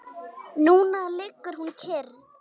Núna liggur hún kyrr.